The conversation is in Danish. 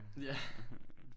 Ja